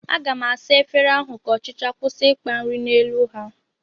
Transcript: Aga m asa efere ahụ ka ọchịcha kwụsị ịkpa nri n'elu ha